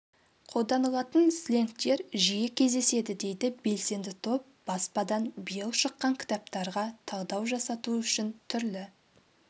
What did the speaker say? қолданылатын сленгтер жиі кездеседі дейді белсенді топ баспадан биыл шыққан кітаптарға талдау жасату үшін түрлі